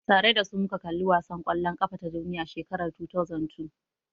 Tare dasu muja kalli wasan kwallon kafa ta duniya shekarar 2002